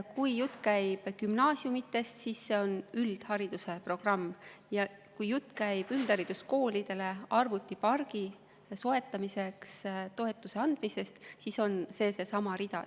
Kui jutt käib gümnaasiumidest, siis see on üldhariduse programm, ja kui jutt käib üldhariduskoolidele arvutipargi soetamiseks toetuse andmisest, siis on see seesama rida.